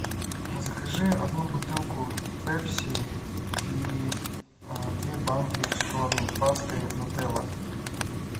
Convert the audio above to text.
закажи одну бутылку пепси и две банки шоколадной пасты нутелла